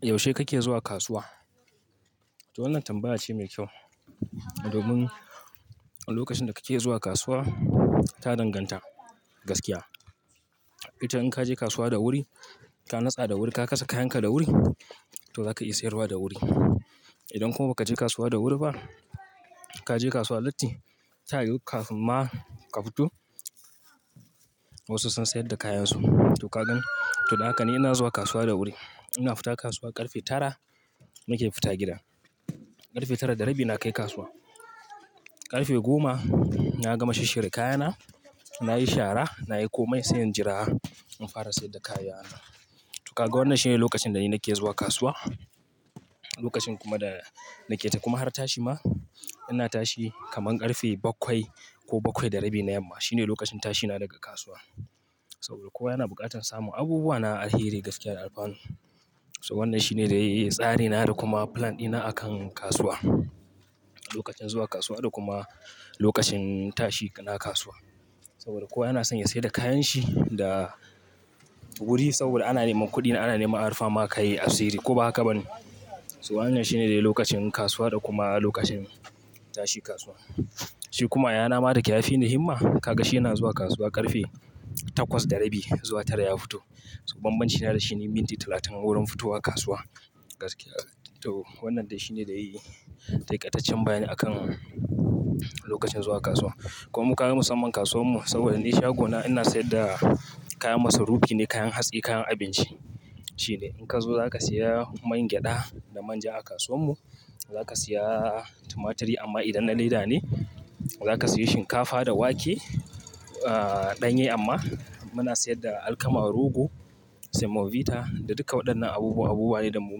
Yaushe kake zuwa kasuwa? To wannan tambaya ce mai kyau domin lokacin da kake zuwa kasuwa ta danganta gaskiya. Ita in ka je kasuwa da wuri, ka natsa da wuri, ka kasa kayanka da wuri to zaka iya sayarwa da wuri. Idan kuma ba ka je kasuwa da wuri ba, ka je kasuwa latti, ta yiwu kafin ma ka fito wasu sun sayar da kayansu. To ka gan, to haka ne ina zuwa kasuwa da wuri. Ina fita kasuwa ƙarfe tara muke fita gida. Ƙarfe tara da rabi na kai kasuwa. Ƙarfe goma na gama shishshirya kayana, nayi shara, nayi komai, sai in jira, in fara sayar da kayana. To ka ga wannan shine lokacin da ni nake zuwa kasuwa, lokacin kuma da nake ta kuma har tashi ma ina tashi kaman ƙarfe bakwai ko bakwai da rabi na yamma. Shine lokacin tashina daga kasuwa saboda kowa yana buƙatan samun abubuwa na alheri gaskiya da alfanu. To wannan shine dai tsari na da kuma plan dina akan kasuwa. Lokacin zuwa kasuwa da kuma lokacin tashi na kasuwa saboda kowa yana son ya sayar da kayanshi da wuri saboda ana neman kuɗi, ana neman a rufa ma ka yi asiri ko ba haka ba ne? To wannan shine dai lokacin kasuwa da kuma lokacin tashi kasuwa. Shi kuma yayana ma da ke yafi ni himma. Kaga shi yana zuwa kasuwa ƙarfe takwas da rabi zuwa tara ya fito. To banbanci na da shi ne minti talatin wurin fitowa kasuwa gaskiya. To wannan dai shine dai takaitaccen bayani akan lokacin zuwa kasuwa. Kuma kaga musamman kasuwar mu saboda ne shagona ina sayar da kaya masarufi ne, kayan hatsi, kayan abinci shine. In ka zo za ka saya man gyada da manja a kasuwar mu. Za ka saya tumaturi amma idan na leda ne. Za ka siyi shinkafa da wake, ah ɗanye amma muna sayar da alkama, rogo, semovita da duka waɗannan abubuwa. Abubuwa ne da mu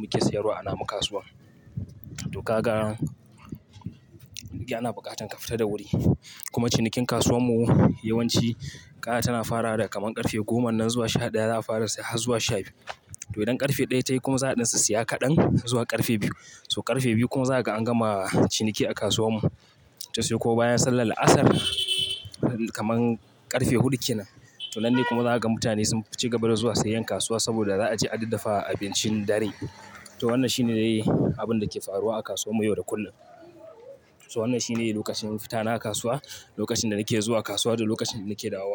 muke siyarwa a namu kasuwan. To ka ga yana buƙatan ka fita da wuri. Kuma cinikin kasuwar mu yawanci ƙara tana fara daga kaman ƙarfe goma nan zuwa sha ɗaya za a fara sai har zuwa sha biyu. To idan ƙarfe ɗaya ta yi kuma za'a ɗin sissiya kaɗan zuwa ƙarfe biyu. To ƙarfe biyu kuma zaka an gama ciniki a kasuwar mu. To sai ko bayan sallar la'asar, kaman ƙarfe huɗu kenan. To nan ne kuma za ka ga mutane sun ci gaba da zuwa sayan kasuwa saboda za a je adaddafa abincin dare. To wannan shi ne dai abin da ke faruwa a kasuwar mu yau da kullum. To wannan shi ne lokacin fitana kasuwa, lokacin da nake zuwa kasuwa da lokacin da nake dawowa.